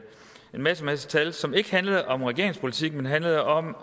en masse masse tal som ikke handlede om regeringens politik man handlede om